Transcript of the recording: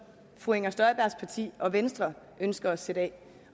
fru inger støjbergs parti venstre ønsker at sætte af